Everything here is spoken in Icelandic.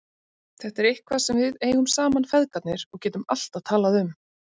Þetta er eitthvað sem við eigum saman feðgarnir og getum alltaf talað um.